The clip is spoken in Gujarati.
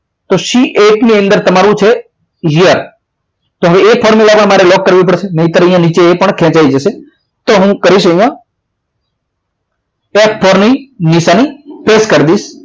તો c egiht ની અંદર તમારું છે year હવે એ formula મારા લોક કરવા લોક કરવી પડશે નહીં તો અહીંયા નીચે ખેંચાઈ જશે તો હું કરીશ અહીંયા f four ની નિશાની press કરી દઈશ